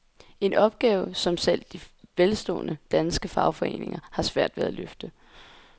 En opgave, som selv de velstående, danske fagforeninger har svært ved at løfte.